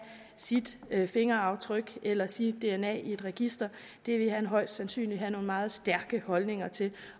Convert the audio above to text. sit fingeraftryk eller sit dna i et register ville han højst sandsynligt have nogle meget stærke holdninger til